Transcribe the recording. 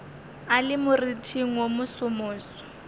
a le moriting wo mosomoso